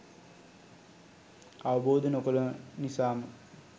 අවබෝධ නො කළ නිසා ම